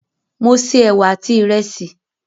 Mo se ẹwà àti ìrẹsì.